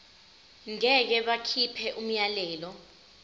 ngeke bakhipha umyalelo